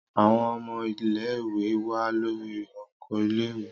Àwõn õmõ ìléwè wà lórí òkó ìlèwé